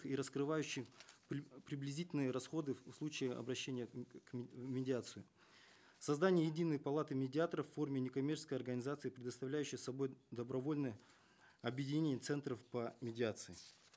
и раскрывающих приблизительные расходы в случае обращения к в медиацию создание единой палаты медиаторов в форме некоммерческой организации представляющей собой добровольное объединение центров по медиации